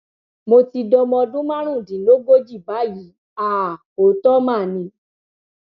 mo ti dọmọ ọdún márùndínlógójì báyìí àá òótọ mà ni